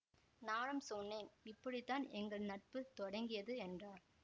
நானும் சொன்னேன் இப்படித்தான் எங்கள் நட்பு தொடங்கியது என்றாள்